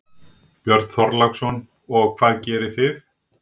Björn Þorláksson: Og hvað gerðu þið?